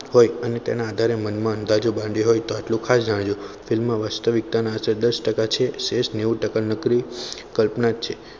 હોય અને તેના આધારે મનમાં અંધારિયું બાંધ્યું હોય તો આટલું ખાસ જજો film વાસ્તવિકતાના આધારે દસ ટકા છે સેસ નેવું ટકા નકરી કલ્પના જ છે